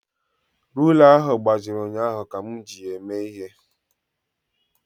Rula ahụ gbajiri ụnyaahụ ka m ji ya eme ihe